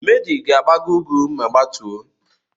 Madi ga-agbago úgwú ma gbatuo.